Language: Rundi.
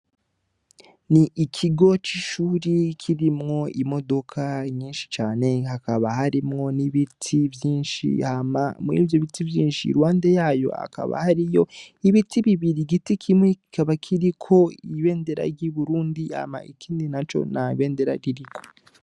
Ni ikigo c' ishuri kirimwo imodoka nyinshi cane hakaba harimwo n' biti vyinshi hama muri ivyo biti vyinshi iruhande yayo hakaba hariyo ibiti bibiri igiti kimwe kikaba kiriko ibendera ry' Uburundi ikindi naco nta bendera ririko.